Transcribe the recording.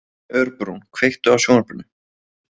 Örbrún, kveiktu á sjónvarpinu.